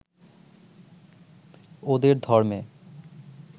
ওদের ধর্মে